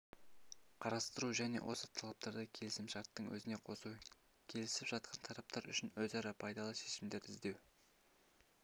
қарастыру және осы талаптарды келісімшарттың өзіне қосу келісіп жатқан тараптар үшін өзара пайдалы шешімдерді іздеу